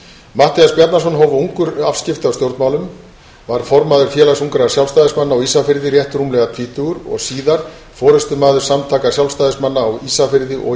matthías bjarnason hóf ungur afskipti af stjórnmálum varð formaður félags ungra sjálfstæðismanna á ísafirði rétt rúmlega tvítugur og síðar forustumaður samtaka sjálfstæðismanna á ísafirði og